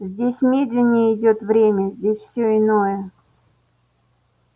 здесь медленнее идёт время здесь всё иное